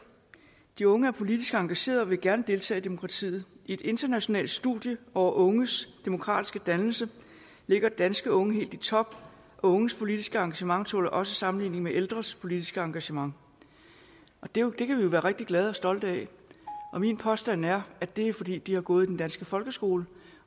de unge er politisk engagerede og vil gerne deltage i demokratiet i et internationalt studie over unges demokratiske dannelse ligger danske unge helt i top og unges politiske engagement tåler også sammenligning med ældres politiske engagement det kan vi jo være rigtig glade for og stolte af min påstand er at det er fordi de har gået i den danske folkeskole